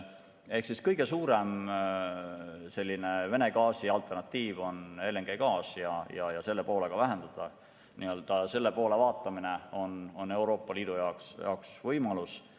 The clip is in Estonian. Ehk siis kõige suurem Vene gaasi alternatiiv on LNG ja selle poole vaatamine on Euroopa Liidu jaoks võimalus.